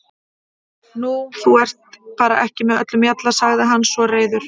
Nú, þú ert bara ekki með öllum mjalla, sagði hann svo reiður.